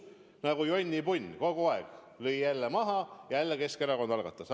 Nagu jonnipunn: kogu aeg löödi maha, jälle Keskerakond algatas.